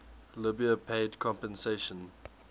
libya paid compensation